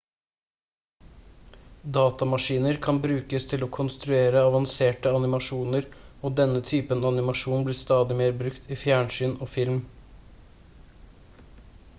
datamaskiner kan brukes til å konstruere avanserte animasjoner og denne typen animasjon blir stadig mer brukt i fjernsyn og film